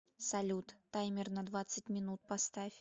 салют таймер на двадцать минут поставь